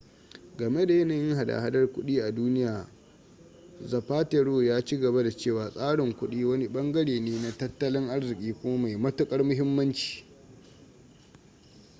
game da yanayin hada-hadar kudi a duniya zapatero ya ci gaba da cewa tsarin kudi wani bangare ne na tattalin arziki kuma mai matukar muhimmanci